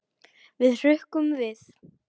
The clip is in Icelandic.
Við hrukkum við.